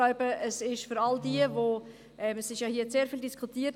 Es wurde hier viel diskutiert.